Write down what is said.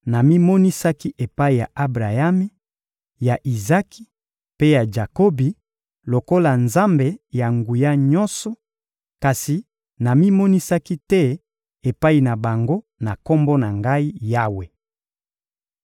Namimonisaki epai ya Abrayami, ya Izaki mpe ya Jakobi lokola Nzambe-Na-Nguya-Nyonso, kasi namimonisaki te epai na bango na Kombo na Ngai: Yawe.